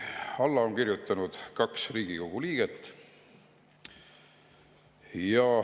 Alla on kirjutanud kaks Riigikogu liiget.